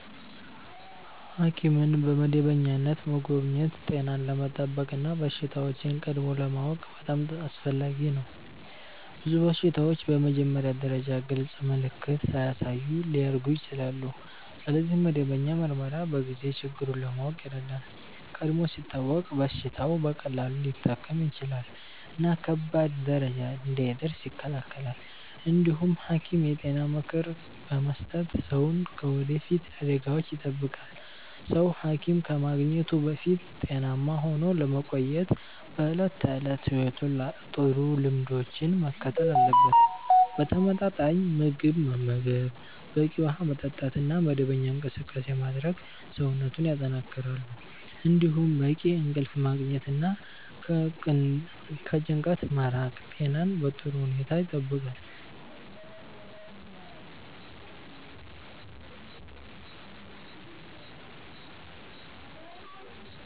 ሐኪምን በመደበኛነት መጎብኘት ጤናን ለመጠበቅ እና በሽታዎችን ቀድሞ ለማወቅ በጣም አስፈላጊ ነው። ብዙ በሽታዎች በመጀመሪያ ደረጃ ግልጽ ምልክት ሳያሳዩ ሊያድጉ ይችላሉ፣ ስለዚህ መደበኛ ምርመራ በጊዜ ችግሩን ለማወቅ ይረዳል። ቀድሞ ሲታወቅ በሽታው በቀላሉ ሊታከም ይችላል እና ከባድ ደረጃ እንዳይደርስ ይከላከላል። እንዲሁም ሐኪም የጤና ምክር በመስጠት ሰውን ከወደፊት አደጋዎች ይጠብቃል። ሰው ሐኪም ከማግኘቱ በፊት ጤናማ ሆኖ ለመቆየት በዕለት ተዕለት ሕይወቱ ጥሩ ልምዶችን መከተል አለበት። ተመጣጣኝ ምግብ መመገብ፣ በቂ ውሃ መጠጣት እና መደበኛ እንቅስቃሴ ማድረግ ሰውነትን ያጠናክራሉ። እንዲሁም በቂ እንቅልፍ ማግኘት እና ከጭንቀት መራቅ ጤናን በጥሩ ሁኔታ ይጠብቃል።